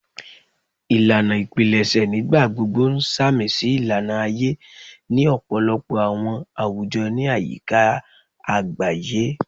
Ilana ipilẹṣẹ nigbagbogbo n samisi ilana aye ni ọpọlọpọ awọn awujọ ni ayika agbaye